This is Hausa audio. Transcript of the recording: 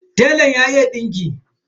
Telan ya iya dinki.